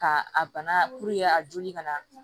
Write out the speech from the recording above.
Ka a bana a joli kana